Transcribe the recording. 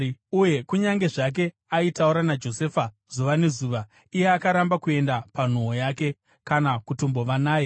Uye kunyange zvake aitaura naJosefa zuva nezuva, iye akaramba kuenda panhoo naye, kana kutombova naye.